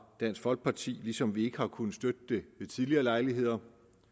dansk folkeparti ligesom vi ikke har kunnet støtte det ved tidligere lejligheder